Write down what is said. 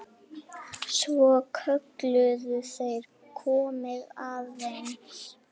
Svo kölluðu þeir: Komiði aðeins!